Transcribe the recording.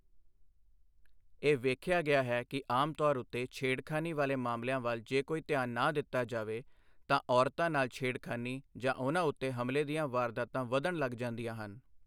ਇਹ ਵੇਖਿਆ ਗਿਆ ਹੈ ਕਿ ਆਮ ਤੌਰ ਉੱਤੇ ਛੇੜਖਾਨੀ ਵਾਲੇ ਮਾਮਲਿਆਂ ਵੱਲ ਜੇ ਕੋਈ ਧਿਆਨ ਨਾ ਦਿੱਤਾ ਜਾਵੇ, ਤਾਂ ਔਰਤਾਂ ਨਾਲ ਛੇੜਖਾਨੀ ਜਾਂ ਉਨ੍ਹਾਂ ਉੱਤੇ ਹਮਲੇ ਦੀਆਂ ਵਾਰਦਾਤਾਂ ਵਧਣ ਲੱਗ ਜਾਂਦੀਆਂ ਹਨ।